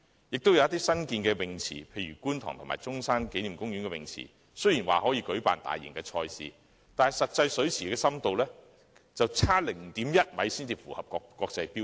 有一些新建的游泳池，例如觀塘游泳池和中山紀念公園游泳池，雖然可以舉辦大型賽事，但水池的實際深度卻差 0.1 米才符合國際標準。